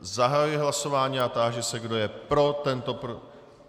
Zahajuji hlasování a táži se, kdo je pro tento...